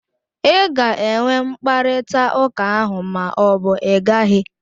Ị ga-enwe mkparịtaụka ahụ ma ọ bụ ị gaghị?